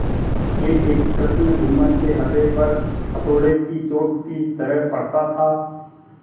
एकएक प्रश्न जुम्मन के हृदय पर हथौड़े की चोट की तरह पड़ता था